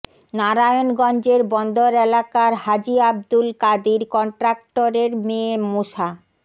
নারায়ণগঞ্জের বন্দর এলাকার হাজী আব্দুল কাদির কন্ট্রাক্টরের মেয়ে মোসা